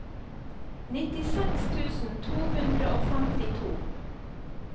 nittiseks tusen to hundre og femtito